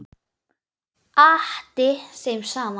Atti þeim saman.